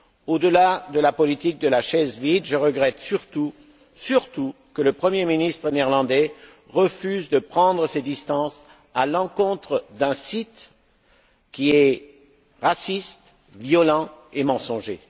Au delà de la politique de la chaise vide, je regrette surtout que le premier ministre néerlandais refuse de prendre ses distances à l'encontre d'un site qui est raciste, violent et mensonger.